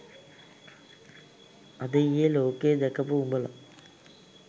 අද ඊයේ ලෝකේ දැකපු උඹල